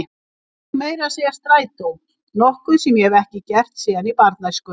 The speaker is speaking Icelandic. Ég tek meira að segja strætó, nokkuð sem ég hef ekki gert síðan í barnæsku.